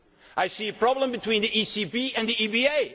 I see a problem between the ECB and